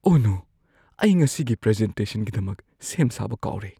ꯑꯣꯍ no! ꯑꯩ ꯉꯁꯤꯒꯤ ꯄ꯭ꯔꯖꯦꯟꯇꯦꯁꯟꯒꯤꯗꯃꯛ ꯁꯦꯝ ꯁꯥꯕ ꯀꯥꯎꯔꯦ꯫